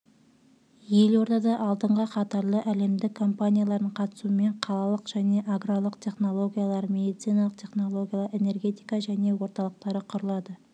елордада алдынғы қатарлы әлемдік компаниялардың қатысуымен қалалық және аграрлық технологиялар медициналық технологиялар энергетика және орталықтары құрылады